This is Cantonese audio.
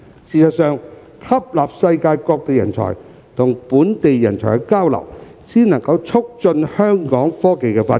事實上，吸納世界各地人才與本地人才交流，才能促進香港的科技發展。